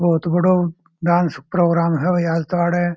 बहुत बड़ा dance programme है आज तो आड।